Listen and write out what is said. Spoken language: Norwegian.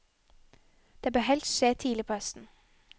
Det bør helst skje tidlig på høsten.